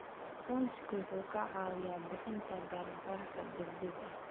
Aqoonsigu wuxuu kaa caawinayaa bixinta gargaarka degdegga ah.